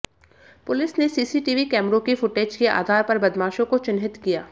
police ने CCTV कैमरों की फुटेज के आधार पर बदमाशों को चिन्हित किया